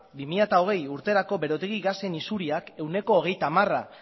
bi mila hogeigarrena urterako berotegi gasen isuriak ehuneko hogeita hamara